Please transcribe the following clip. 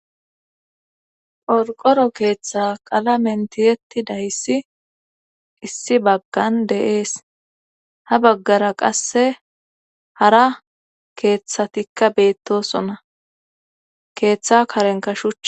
Qorqoro keeththa qala mentiyetti dayssi issi baggan de'ees ha baggara qasse hara keeththatikka beettosona keeththa karenka shuchy